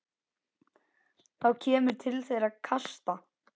Þá kemur til þeirra kasta.